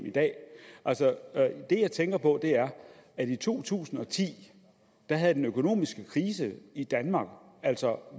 i dag altså det jeg tænker på er at i to tusind og ti havde den økonomiske krise i danmark altså